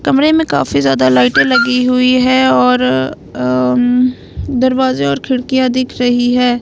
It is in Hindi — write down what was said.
कमरे में काफी ज्यादा लाइटें लगी हुई है आ न और दरवाजे और खिड़कियां दिख रही है।